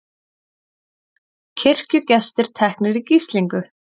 Kirkjugestir teknir í gíslingu